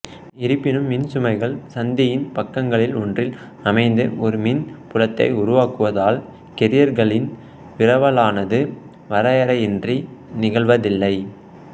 இருப்பினும் மின்சுமைகள் சந்தியின் பக்கங்களில் ஒன்றில் அமைந்து ஒரு மின் புலத்தை உருவாக்குவதால் கேரியர்களின் விரவலானது வரையறையின்றி நிகழ்வதில்லை